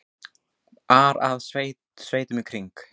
ar að sveitunum í kring.